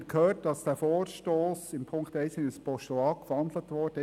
Wir haben erfahren, dass Punkt 1 des Vorstosses in ein Postulat umgewandelt wurde.